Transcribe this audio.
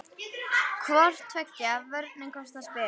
Hvor tveggja vörnin kostar spilið.